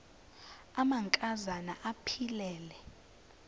amanka zana aphilele